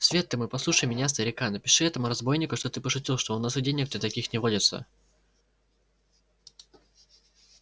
свет ты мой послушай меня старика напиши этому разбойнику что ты пошутил что у нас и денег-то таких не водится